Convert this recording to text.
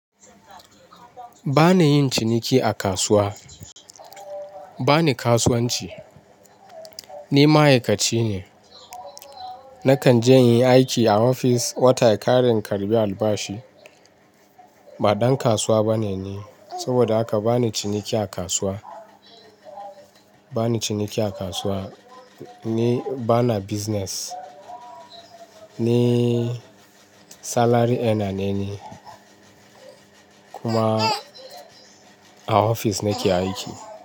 Ba ni yin ciniki a kasuwa, ba ni kasuwanci. Ni ma'aikaci ne. Nakan je inyi aiki a ofis, watan ya kare in karɓi albashi. Ba ɗan kasuwa bane ni. Saboda haka, bani ciniki a kasuwa, bani ciniki a kasuwa, ni bana business. Ni salary earner ni, kuma a ofis nake aiki.